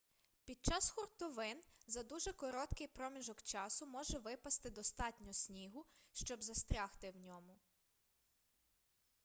під час хуртовин за дуже короткий проміжок часу може випасти достатньо снігу щоб застрягти у ньому